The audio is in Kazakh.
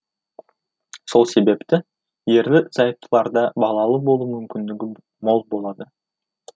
сол себепті ерлі зайыптыларда балалы болу мүмкіндігі мол болады